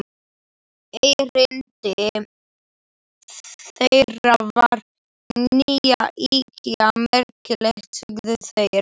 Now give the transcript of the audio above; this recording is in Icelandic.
Erindi þeirra væri ekki ýkja merkilegt, sögðu þeir.